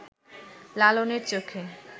লালনের চোখে